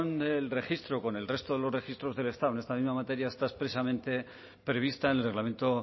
el registro con el resto de los registros del estado en esta misma materia está expresamente prevista en el reglamento